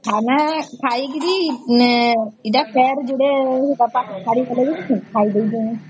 ମାନେ ଖାଇକିରି ମାନେ ଏଟା ଫେର ଯୋଡ଼େ ଡାବକେ ଖାଇଦେଇକି